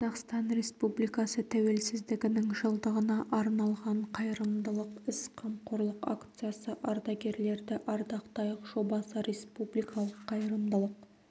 қазақстан республикасы тәуелсіздігінің жылдығына арналған қайырымдылық іс қамқорлық акциясы ардагерлерді ардақтайық жобасы республикалық қайырымдылық